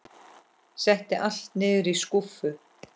Setti allt niður í skúffu.